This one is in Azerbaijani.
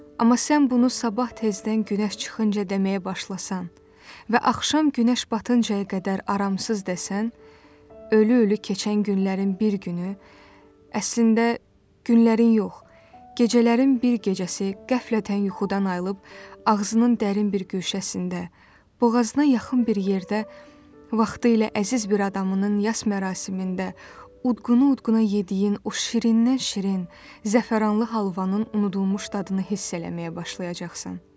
Amma sən bunu sabah tezdən günəş çıxınca deməyə başlasan və axşam günəş batıncayə qədər aramsız desən, ölü-ölü keçən günlərin bir günü, əslində günlərin yox, gecələrin bir gecəsi qəflətən yuxudan ayılıb ağzının dərin bir guşəsində, boğazına yaxın bir yerdə vaxtilə əziz bir adamının yas mərasimində udquna-udquna yediyin o şirindən şirin, zəfəranlı halvanın unudulmuş dadını hiss eləməyə başlayacaqsan.